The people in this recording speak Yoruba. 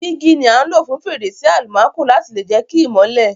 Dígí ni a n lo fún fèrèsé almanco láti lè jẹ ki ìmọ́lẹ̀